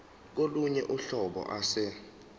kolunye uhlobo ase